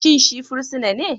Shin shi fursuna ne?